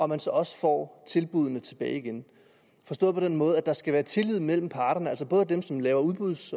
man så også får tilbuddene tilbage igen forstået på den måde at der skal være tillid mellem parterne altså både dem som laver udbud